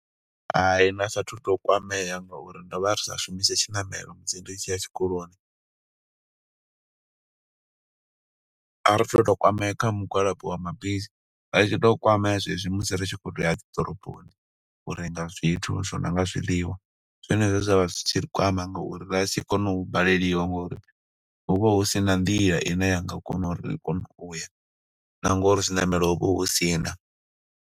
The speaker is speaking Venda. Hai, nda sa athu u to kwamea nga uri ndo vha ri sa shumise tshiṋamelo musi ri tshi ya tshikoloni. A ri to to kwamea nga mugwalabo wa mabisi, ra ri tshi to kwamea zwezwi musi ri tshi khou tou ya dzi ḓoroboni, u renga zwithu zwo no nga zwiḽiwa. Ndi zwone zwe zwa vha zwi tshi ri kwama nga uri ra ri tshi kona u baleliwa, ngo uri ho vha hu si na nḓila ine ya nga kona uri ri kone uya, na ngo uri zwiṋamelo ho vha hu si na.